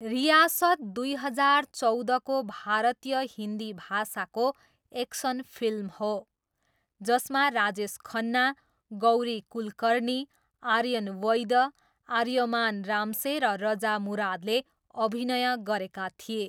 रियासत दुई हजार चौधको भारतीय हिन्दी भाषाको एक्सन फिल्म हो, जसमा राजेश खन्ना, गौरी कुलकर्णी, आर्यन वैद, आर्यमान रामसे र रजा मुरादले अभिनय गरेका थिए।